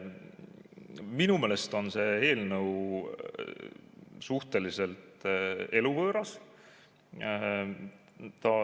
Minu meelest on see eelnõu suhteliselt eluvõõras.